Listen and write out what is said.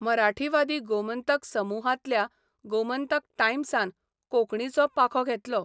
मराठीवादी 'गोमंतक 'समुहांतल्या 'गोमंतक टायम्सा'न कोंकणीचो पाखो घेतलो.